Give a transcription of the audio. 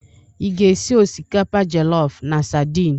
Ị ga-esi osikapa jọlọf na sadin?